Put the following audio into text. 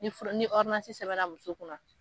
Ni fura ni ordonasi sɛbɛnna muso kunna